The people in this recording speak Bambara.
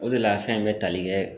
O de la fɛn in be tali kɛ